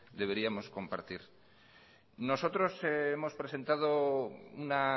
deberíamos compartir nosotros hemos presentado una